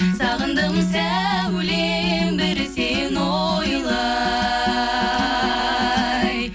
сағындым сәулем бір сені ойлай